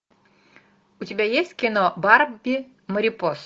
у тебя есть кино барби марипоса